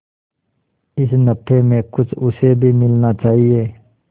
इस नफे में कुछ उसे भी मिलना चाहिए